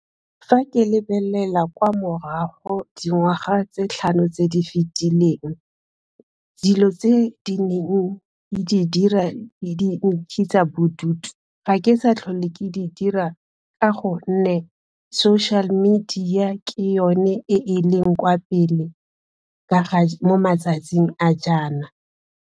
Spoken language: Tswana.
Fa ke lebelela kwa morago dingwaga tse tlhano tse di fetileng, dilo tse di neng ke di dira di nkentsha bodutu, ga ke sa tlhole ke di dira ka gonne social media ke yone e e leng kwa pele mo matsatsing a jaana.